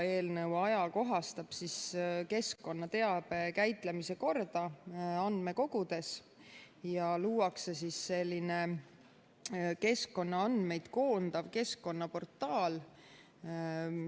Eelnõu ajakohastab keskkonnateabe käitlemise korda andmekogudes ja luuakse keskkonnaandmeid koondav keskkonnaportaal.